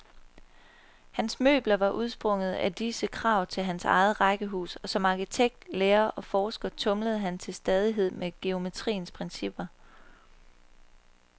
Hans møbler var udsprunget af disse krav til hans eget rækkehus, og som arkitekt, lærer og forsker tumlede han til stadighed med geometriens principper.